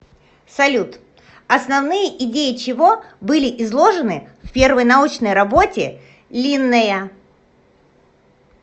салют основные идеи чего были изложены в первой научной работе линнея